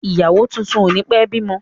Ìyàwó tuntun o ni pẹ bímọ.